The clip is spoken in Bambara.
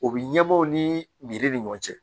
O bi ɲɛbɔ o ni ni ɲɔgɔn cɛ